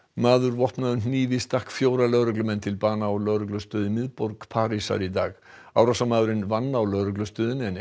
maður vopnaður hnífi stakk fjóra lögreglumenn til bana á lögreglustöð í miðborg Parísar í dag árásarmaðurinn vann á lögreglustöðinni en